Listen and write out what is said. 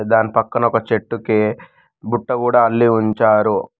దాని పక్కన ఒక చెట్టుకి బుట్ట కూడా అల్లి ఉంచారు.